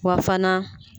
Wa fana